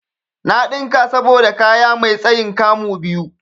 Na ɗinka saboda kaya mai tsayin 'kamu' biyu.